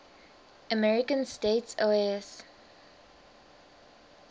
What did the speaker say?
american states oas